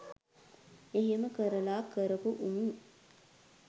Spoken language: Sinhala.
එහෙම කරල කරපු උන්